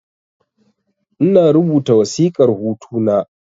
Ina rubuta wasiƙar hutu na